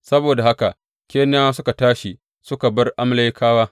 Saboda haka Keniyawa suka tashi suka bar Amalekawa.